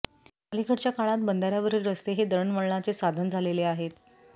अलिकडच्या काळात बंधाऱ्यावरील रस्ते हे दळणवळणाचे साधण झालेले आहेत